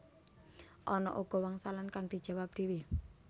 Ana uga wangsalan kang dijawab dhéwé